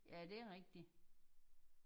Ja det er rigtigt